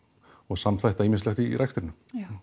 og samþætta ýmislegt í rekstrinum